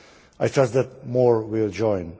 I trust that more will join.